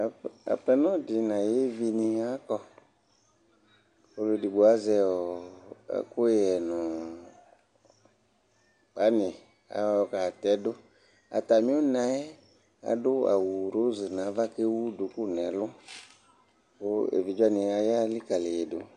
aƒenɔ di n'ayi evi ni akɔ k'ɔlò edigbo azɛ ɔ ɛkuyɛ no pani ayɔ katɛ do atami na yɛ adu awu roz n'ava k'ewu duku n'ɛlu kò evidze wani aya likali yi do